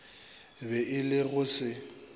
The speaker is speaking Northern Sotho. be e le go se